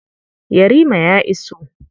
Yarima ya iso.